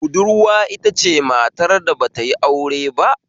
Budurwa itace matar da batayi aure ba